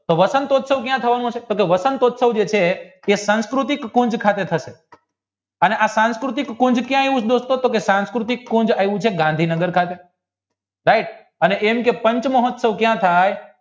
તો વસંતયુત્સવ ક્યાં થવાનો છે તો વસંતયુત્સવ જે છે એ સાંસ્કૃતિક ખાંડ ખાતે થશે અને આ સાસનૃતખંડ ગાંધીનગર ખાતે right પંચમહોત્સાવ કાયા થાય